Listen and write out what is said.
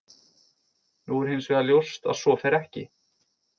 Nú er hins vegar ljóst að svo fer ekki.